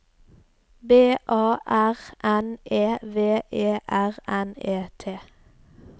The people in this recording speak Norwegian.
B A R N E V E R N E T